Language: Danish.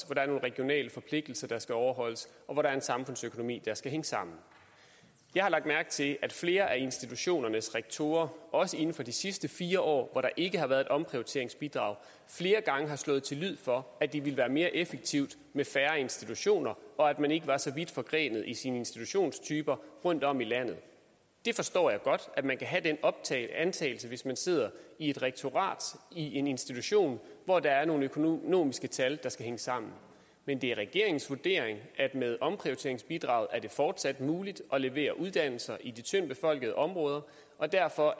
er nogle regionale forpligtelser der skal overholdes og hvor der er en samfundsøkonomi der skal hænge sammen jeg har lagt mærke til at flere af institutionernes rektorer også inden for de sidste fire år hvor der ikke har været et omprioriteringsbidrag flere gange har slået til lyd for at det ville være mere effektivt med færre institutioner og at man ikke var så vidt forgrenet i sine institutionstyper rundtom i landet jeg forstår godt at man kan have den antagelse hvis man sidder i et rektorat i en institution hvor der er nogle økonomiske tal der skal hænge sammen men det er regeringens vurdering at det med omprioriteringsbidraget fortsat er muligt at levere uddannelser i de tyndtbefolkede områder og derfor